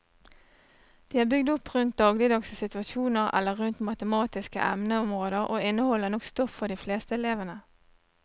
De er bygd opp rundt dagligdagse situasjoner eller rundt matematiske emneområder og inneholder nok stoff for de fleste elevene.